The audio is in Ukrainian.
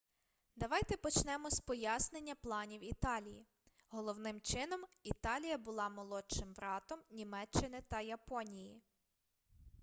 давайте почнемо з пояснення планів італії головним чином італія була молодшим братом німеччини та японії